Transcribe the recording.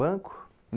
Banco?